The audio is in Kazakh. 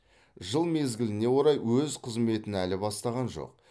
жыл мезгіліне орай өз қызметін әлі бастаған жоқ